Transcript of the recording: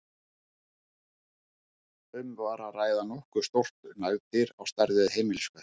Um var að ræða nokkuð stórt nagdýr, á stærð við heimiliskött.